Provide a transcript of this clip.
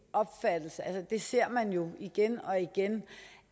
at det ser man jo igen og igen